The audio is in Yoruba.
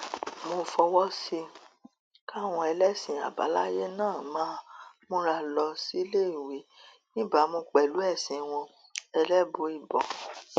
mo fọwọ sí i káwọn ẹlẹsìn àbáláyé náà máa múra lọ síléèwé níbàámu pẹlú ẹsìn wọn ẹlẹbùíbọn